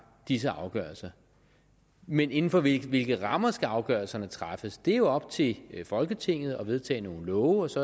disse afgørelser men inden for hvilke rammer skal afgørelserne træffes det er jo op til folketinget at vedtage nogle love og så